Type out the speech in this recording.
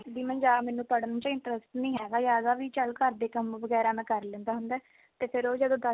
ਵੀ ਮੈਨੂੰ ਪੜ੍ਹਨ ਚ interest ਨਹੀਂ ਹੈਗਾ ਵੀ ਜਿਆਦਾ ਚੱਲ ਘਰ ਦੇ ਕੰਮ ਵਗੈਰਾ ਮੈਂ ਕਰ ਲੈਂਦਾ ਹੁੰਦਾ ਤੇ ਫੇਰ ਉਹ ਜਦੋਂ